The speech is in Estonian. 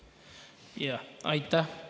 Aitäh!